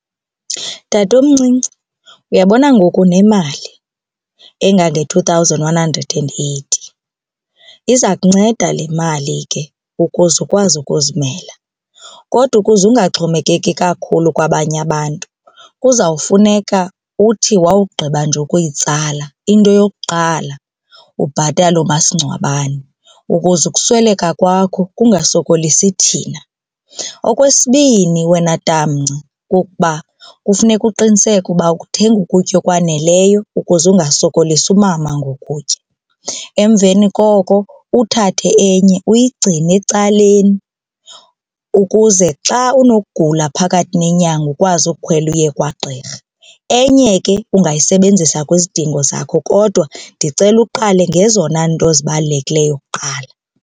Tatomncinci, uyabona ngoku unemali engange-two thousand one hundred and eighty, iza kunceda le mali ke ukuze ukwazi ukuzimela. Kodwa ukuze ungaxhomekeki kakhulu kwabanye abantu kuzawufuneka uthi wawugqiba nje ukuyitsala, into yokuqala ubhatale umasingcwabane ukuze ukusweleka kwakho kungasokolisi thina. Okwesibini wena tamnci kukuba kufuneka uqiniseke uba uthenga ukutya okwaneleyo ukuze ungasokolisi umama ngokutya, emveni koko uthathe enye uyigcine ecaleni ukuze xa unokugula phakathi nenyanga ukwazi ukukhwela uye kwagqirha. Enye ke ungayisebenzisa kwizidingo zakho kodwa ndicela uqale ngezona nto zibalulekileyo kuqala.